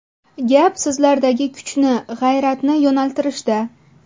Gap sizlardagi kuchni, g‘ayratni yo‘naltirishda.